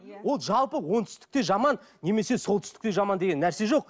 иә ол жалпы оңтүстікте жаман немесе солтүстікте жаман деген нәрсе жоқ